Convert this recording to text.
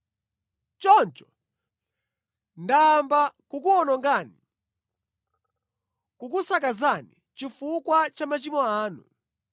Choncho, ndayamba kukuwonongani, kukusakazani chifukwa cha machimo anu.